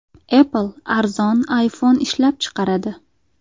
Apple arzon iPhone ishlab chiqaradi.